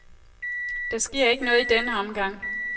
Der sker ikke noget i denne omgang.